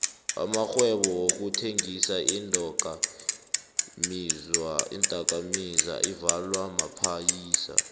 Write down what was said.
amarhwebo wokuthengisa iindoka mizwa avalwa maphayisa